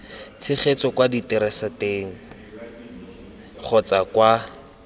tshegetso kwa diteraseteng kgotsa kwa